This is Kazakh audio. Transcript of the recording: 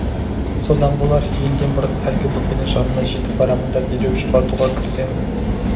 содан болар елден бұрын әлгі бөпенің жанына жетіп барамын да дереу жұбатуға кірісемін